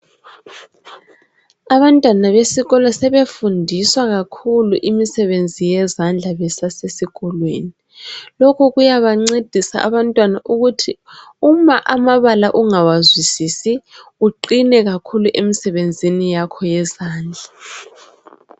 Abantwana besikolo sebefundiswa kakhulu imisebenzi yezandla besasesikolweni. Lokhu kuyabancedisa abantwana ukuthi uma amabala ungawazwisisi uqine kakhulu emsebenzini yakho yezandla.